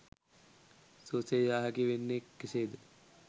සුවසේ යා හැකි වන්නේ කෙසේද?